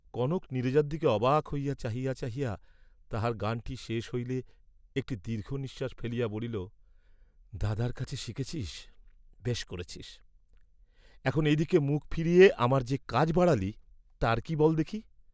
কনক নীরজার দিকে অবাক হইয়া চাহিয়া চাহিয়া তাহার গানটি শেষ হইলে একটি দীর্ঘ নিঃশ্বাস ফেলিয়া বলিল, "দাদার কাছে শিখেছিস্, বেশ করেছিস্, এখন এদিকে মুখ ফিরিয়ে আমার যে কাজ বাড়ালি, তার কি বল্ দেখি?"